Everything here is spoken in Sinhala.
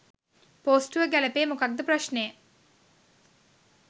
පොස්ටුව ගැලපේ මොකක්ද ප්‍රශ්නය?